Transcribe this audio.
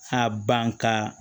A ban ka